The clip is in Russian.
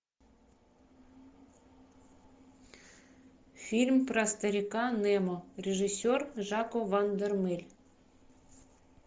фильм про старика немо режиссер жако ван дормель